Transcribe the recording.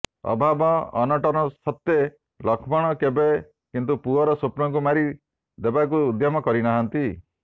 ଅଭାବ ଅନଟନ ସତ୍ତେ୍ୱ ଲକ୍ଷ୍ମଣ କେବେ କିନ୍ତୁ ପୁଅର ସ୍ୱପ୍ନକୁ ମାରି ଦେବାକୁ ଉଦ୍ୟମ କରିନାହାନ୍ତି